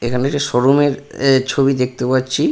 এখানে যে শোরুম -এর এ ছবি দেখতে পাচ্ছি।